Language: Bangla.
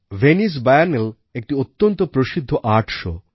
ভেনিস বিয়েনেলে একটি অত্যন্ত প্রসিদ্ধ আর্ট show